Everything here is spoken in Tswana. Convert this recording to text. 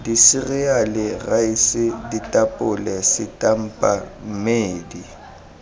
diseriale raese ditapole setampa mmedi